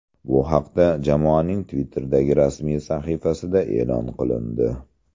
Bu haqda jamoaning Twitter’dagi rasmiy sahifasida e’lon qilindi .